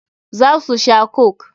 Za su sha coke.